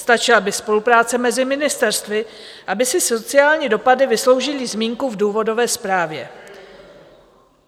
Stačila by spolupráce mezi ministerstvy, aby si sociální dopady vysloužily zmínku v důvodové zprávě.